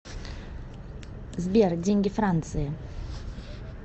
сбер деньги франции